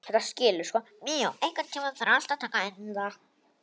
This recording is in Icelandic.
Míó, einhvern tímann þarf allt að taka enda.